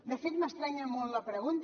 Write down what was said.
de fet m’estranya molt la pregunta